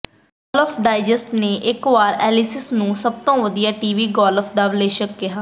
golf digest ਨੇ ਇਕ ਵਾਰ ਐਲੀਸਸ ਨੂੰ ਸਭ ਤੋਂ ਵਧੀਆ ਟੀਵੀ ਗੋਲਫ ਦਾ ਵਿਸ਼ਲੇਸ਼ਕ ਕਿਹਾ